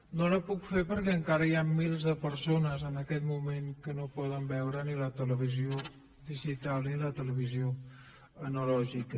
no la puc fer perquè encara hi han milers de persones en aquest moment que no poden veure ni la televisió digital ni la televisió analògica